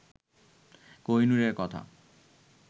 কোহিনূরের কথা